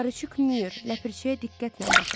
Paruçik Myur, ləpirçiyə diqqətlə baxın.